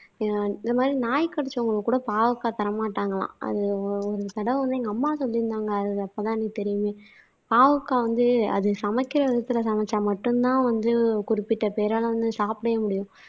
இந்த மாதிரி நாய் கடிச்சவங்க கூட பாவக்காய் தர மாட்டாங்களாம் அது ஒரு தடவை வந்து எங்க அம்மா சொல்லியிருந்தாங்க. அது அப்பதான் எனக்கு தெரியுமே பாவக்காய் வந்து அது சமைக்கிற விதத்துல சமைச்சா மட்டும்தான் வந்து குறிப்பிட்ட பேரால வந்து சாப்பிடவே முடியும்